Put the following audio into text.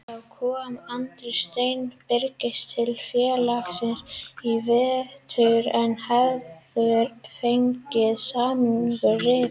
Þá kom Andri Steinn Birgisson til félagsins í vetur en hefur fengið samningnum rift.